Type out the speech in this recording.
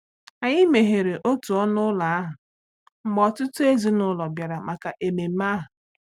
Anyị meghere òtu ọnụ ụlọ ahụ mgbe ọtụtụ ezinụlọ bịara maka ememe ahụ.